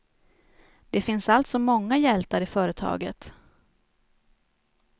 Det finns alltså många hjältar i företaget.